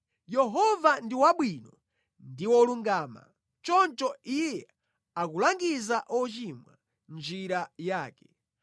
Yehova ndi wabwino ndi wolungama; choncho Iye akulangiza ochimwa mʼnjira yake.